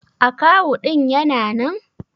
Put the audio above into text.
Akawu ɗin Yana nan?